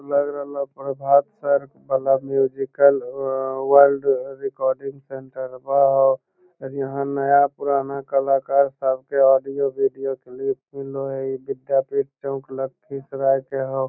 लग रहलो प्रभात सर वला म्यूजिकल व वर्ल्ड रिकॉर्डिंग सेंटरवा हो और यहाँ नया-पुराना कलाकार सब के ऑडियो वीडियो क्लिप मिलो है इ विद्यापीठ चौक लखीसराय के हो।